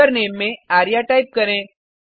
username में Arya type करें